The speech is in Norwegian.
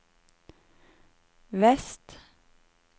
vest